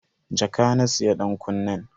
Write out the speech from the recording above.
Jaka na siya dankunnen.